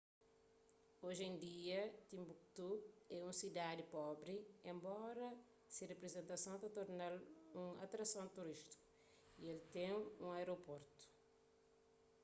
oji en dia tinbuktu é un sidadi pobri enbora se reputason ta torna-l un atrason turístiku y el ten un aeroportu